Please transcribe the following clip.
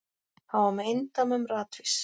Hann var með eindæmum ratvís.